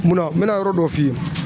Mun na? N bɛna yɔrɔ dɔ f'i ye